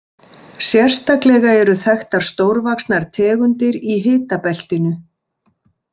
Sérstaklega eru þekktar stórvaxnar tegundir í hitabeltinu.